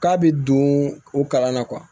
K'a bɛ don o kalan na